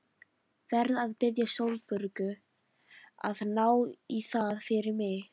Verð að biðja Sólborgu að ná í það fyrir mig.